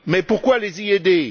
Mais pourquoi les y aider?